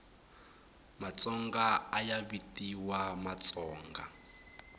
matsonga ayavitiwa matsonga